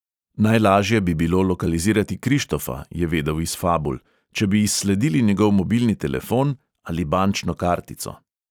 Najlažje bi bilo lokalizirati krištofa, je vedel iz fabul, če bi izsledili njegov mobilni telefon ali bančno kartico.